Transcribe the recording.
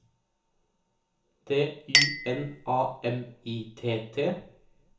D Y N A M I T T